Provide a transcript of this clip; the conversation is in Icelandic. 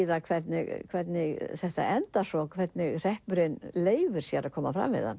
það hvernig hvernig þetta endar svo hvernig hreppurinn leyfir sér að koma fram við hann